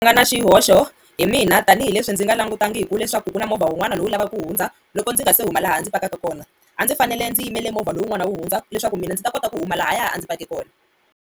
Nga na xihoxo hi mina tanihileswi ndzi nga langutangiku leswaku ku na movha wun'wana lowu u lavaka ku hundza loko ndzi nga se huma laha ndzi pakaka kona a ndzi fanele ndzi yimele movha lowun'wani wu hundza leswaku mina ndzi ta kota ku huma lahaya a ndzi pake kona.